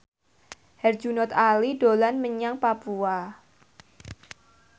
Herjunot Ali dolan menyang Papua